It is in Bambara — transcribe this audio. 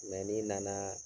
ni na na